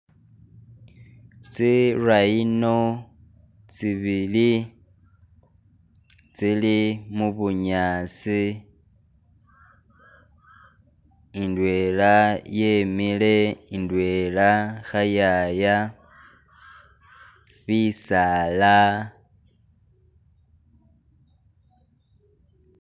Tsi rhino tsi bili tsili mu bunyaasi indwela yemile indwela khayaya, bisaala.